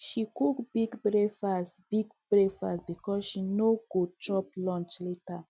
she cook big breakfast big breakfast because she no go chop lunch later